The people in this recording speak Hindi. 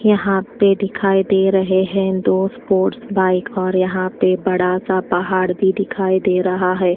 यहां पे दिखाई दे रहे है दो स्पोर्ट्स बाइक और यहां पे बड़ा सा पहाड़ भी दिखाई दे रहा है।